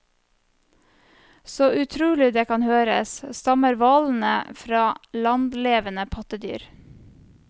Så utrolig det kan høres, stammer hvalene fra landlevende pattedyr.